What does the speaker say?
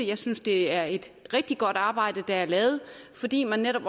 jeg synes det er et rigtig godt arbejde der er lavet fordi man netop